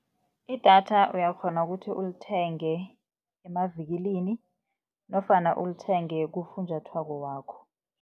Idatha uyakghona kuthi ulithenge emavikilini nofana ulithenge kufunjathwako wakho.